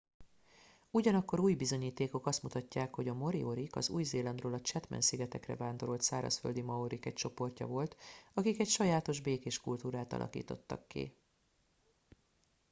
ugyanakkor új bizonyítékok azt mutatják hogy a moriorik az új zélandról a chatham szigetekre vándorolt szárazföldi maorik egy csoportja volt akik egy sajátos békés kultúrát alakítottak ki